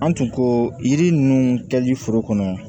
An tun ko yiri ninnu kɛli foro kɔnɔ